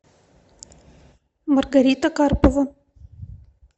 маргарита карпова